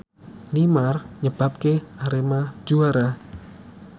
Neymar nyebabke Arema juara